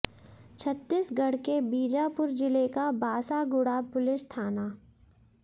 छत्तीसगढ़ के बीजापुर जिले का बासागुड़ा पुलिस थाना